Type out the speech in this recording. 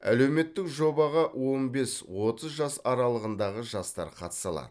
әлеуметтік жобаға он бес отыз жас аралығындағы жастар қатыса алады